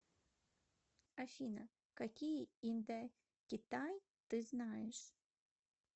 афина какие индокитай ты знаешь